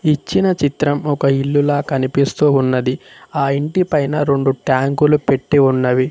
ఇచ్చిన చిత్రం ఒక ఇల్లు లా కనిపిస్తూ ఉన్నది ఆ ఇంటి పైన రెండు ట్యాంకులు పెట్టి ఉన్నవి.